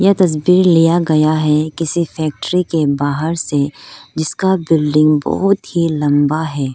तस्वीर लिया गया है किसी फैक्ट्री के बाहर से जिसका बिल्डिंग बहोत ही लंबा है।